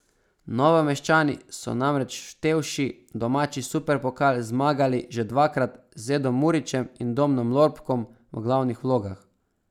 Novomeščani so namreč vštevši domači superpokal zmagali že dvakrat z Edom Murićem in Domnom Lorbkom v glavnih vlogah.